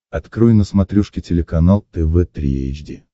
открой на смотрешке телеканал тв три эйч ди